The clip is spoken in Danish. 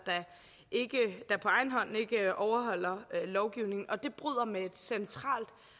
der på egen hånd ikke overholder lovgivningen og det bryder med et centralt